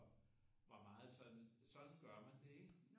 Var meget sådan sådan gør man det ikke